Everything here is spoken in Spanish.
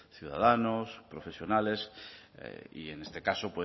ciudadano profesionales y en este caso